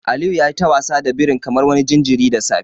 Aliyu yayi ta wasa da birin kamar wani jinjirin da safe.